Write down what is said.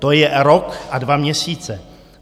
To je rok a dva měsíce.